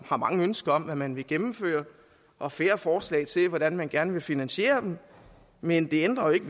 har mange ønsker om hvad man vil gennemføre og færre forslag til hvordan man gerne vil finansiere dem men det ændrer ikke